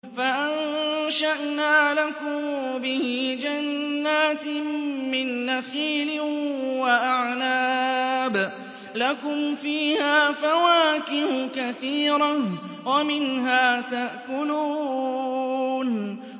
فَأَنشَأْنَا لَكُم بِهِ جَنَّاتٍ مِّن نَّخِيلٍ وَأَعْنَابٍ لَّكُمْ فِيهَا فَوَاكِهُ كَثِيرَةٌ وَمِنْهَا تَأْكُلُونَ